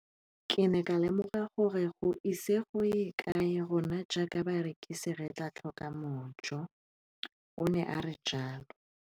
Ke ne ka lemoga gore go ise go ye kae rona jaaka barekise re tla tlhoka mojo, o ne a re jalo.